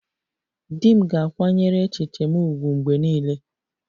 Di m ga-akwanyere echiche m ùgwù mgbe niile